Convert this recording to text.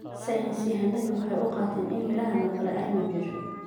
Saynis yahanadu waxay u qaateen in meerahan oo kale aanu jirin